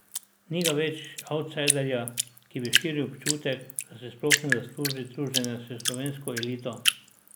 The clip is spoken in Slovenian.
Ni ga več avtsajderja, ki bi širil občutek, da si sploh ne zasluži druženja s slovensko elito.